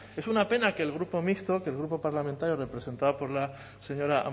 es una pena que el grupo mixto que el grupo parlamentario representado por la señora